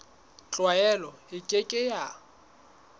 tlwaelo e ke ke ya